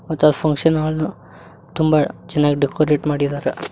ಮತ್ತ್ ಅವರ್ ಫಂಕ್ಷನ್ ಹಾಲ್ನ ತುಂಬ ಚೆನ್ನಾಗ್ ಡೆಕೋರೇಟ್ ಮಾಡಿದರ.